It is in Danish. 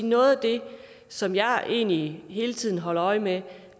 noget af det som jeg egentlig hele tiden holder øje med